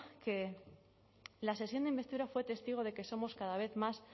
que la sesión de investidura fue testigo de que somos cada vez más